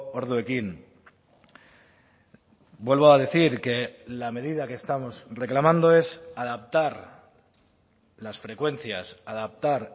orduekin vuelvo a decir que la medida que estamos reclamando es adaptar las frecuencias adaptar